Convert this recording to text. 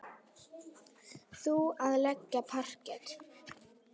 Þú að leggja parket.